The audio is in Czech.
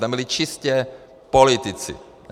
Tam byli čistě politici.